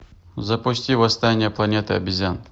запусти восстание планеты обезьян